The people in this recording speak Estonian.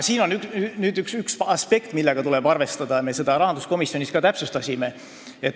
Siin on üks aspekt, millega tuleb arvestada, ja me seda ka rahanduskomisjonis täpsustasime.